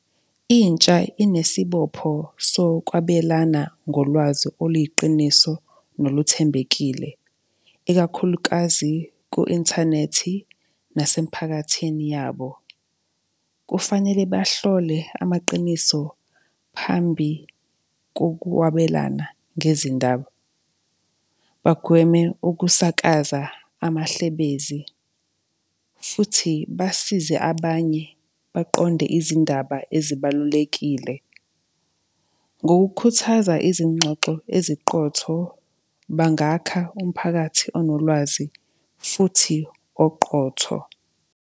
Intsha inesibopho sokwabelana ngolwazi oluyiqiniso noluthembekile, ikakhulukazi ku-inthanethi, nasemiphakathini yabo. Kufanele bahlole amaqiniso phambi kokwabelana ngezindaba, bagweme ukusakaza amahlebezi, futhi basize abanye baqonde izindaba ezibalulekile. Ngokukhuthaza izingxoxo eziqotho bangakha umphakathi onolwazi, futhi oqotho.